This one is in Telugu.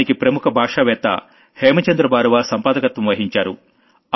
దానికి ప్రముఖ భాషావేత్త హేమచంద్రబారువా సంపాదకత్వం వహించారు